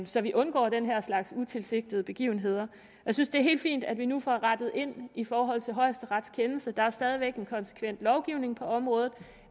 så vi undgår den her slags utilsigtede begivenheder jeg synes det er helt fint at vi nu får rettet ind i forhold til højesterets kendelse der er stadig væk en konsekvent lovgivning på området